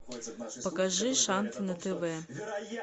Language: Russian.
покажи шант на тв